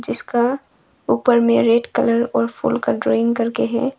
इसका ऊपर मे रेड कलर और फूल का ड्राइंग करके है।